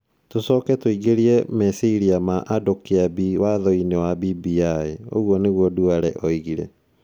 Tũcoke tũingĩrie meciria ma andũ Kĩambi Wathoinĩ wa BBI". ũguo nĩguo Duale oigire.